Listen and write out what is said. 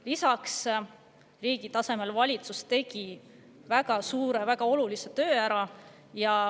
Lisaks, riigi tasemel tegi valitsus väga suure ja väga olulise töö ära.